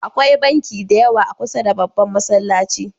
Akwai banki da yawa a kusar da babban Masallacin.